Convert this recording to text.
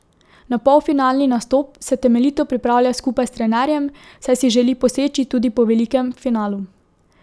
Na polfinalni nastop se temeljito pripravlja skupaj s trenerjem, saj si želi poseči tudi po velikem finalu.